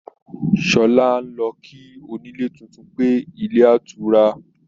Sọlá ń lọ kí onílé tuntun pé, ilé otura